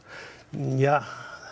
ja